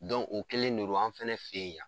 o kɛlen ne ron, an fɛnɛ fe yen yan